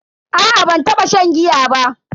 A'a ban taba shan giya ba.